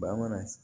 Bamanan